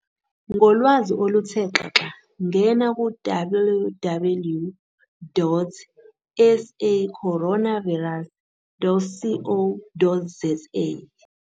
Ngolwazi oluthe xaxa ngena ku-www.sacoronavirus.co.za